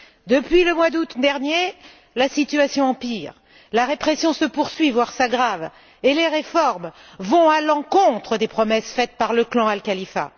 Depuis le mois d'août dernier, la situation empire, la répression se poursuit, voire s'aggrave, et les réformes vont à l'encontre des promesses faites par le clan Al Khalifa.